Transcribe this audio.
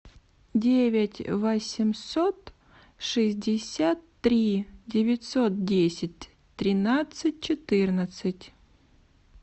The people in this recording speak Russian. девять восемьсот шестьдесят три девятьсот десять тринадцать четырнадцать